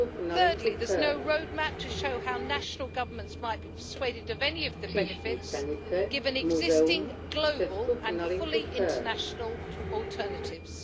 Thirdly, there is no road map to show how national governments might be persuaded of any of the benefits, given existing global and fully international alternatives.